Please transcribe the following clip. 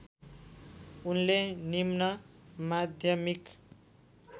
उनले निम्नमाध्यमिक